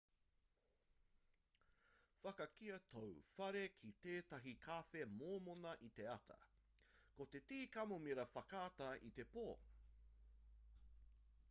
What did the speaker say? whakakīia tōu whare ki tētahi kawhe mōmona i te ata ki te tī kamomira whakatā i te pō